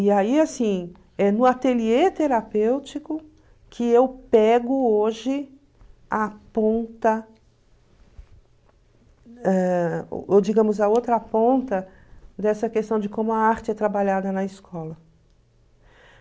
E aí, assim, é no ateliê terapêutico que eu pego hoje a ponta, ãh ou digamos, a outra ponta dessa questão de como a arte é trabalhada na escola.